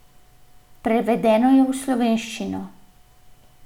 Prevedena je v slovenščino.